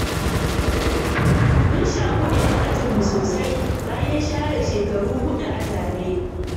Mun shaƙu da 'yan ajinmu sosai, bayan share shekaru huɗu a tare.